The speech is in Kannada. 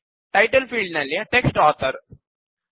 ಟೈಟಲ್ ಫೀಲ್ಡ್ ನಲ್ಲಿ ಟೆಕ್ಸ್ಟ್ ಆಥರ್